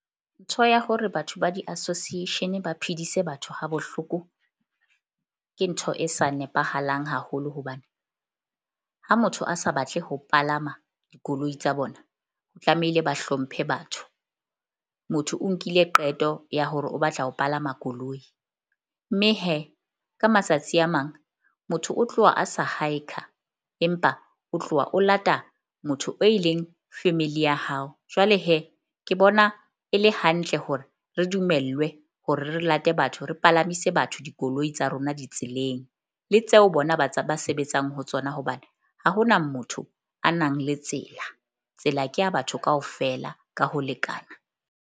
Ntho ya hore batho ba di-association ba phedise batho ha bohloko ke ntho e sa nepahalang haholo hobane ha motho a sa batle ho palama dikoloi tsa bona, tlamehile ba hlomphe batho. Motho o nkile qeto ya hore o batla ho palama koloi. Mme ka matsatsi a mang, motho o tloha a sa empa o tloha o lata motho o e leng family ya hao. Jwale ke bona e le hantle hore re dumellwe hore re late batho re palamise batho dikoloi tsa rona ditseleng le tseo bona ba sebetsang ho tsona. Hobane ha ho na motho a nang le tsela, tsela ke ya batho kaofela ka ho lekana.